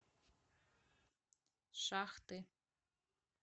шахты